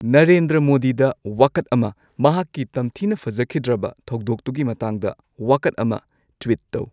ꯅꯔꯦꯟꯗ꯭ꯔ ꯃꯣꯗꯤꯗ ꯋꯥꯀꯠ ꯑꯃ ꯃꯍꯥꯛꯀꯤ ꯇꯝꯊꯤꯅ ꯐꯖꯈꯤꯗ꯭ꯔꯕ ꯊꯧꯗꯣꯛꯇꯨꯒꯤ ꯃꯇꯥꯡꯗ ꯋꯥꯀꯠ ꯑꯃ ꯇ꯭ꯋꯤꯠ ꯇꯧ